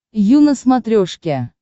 ю на смотрешке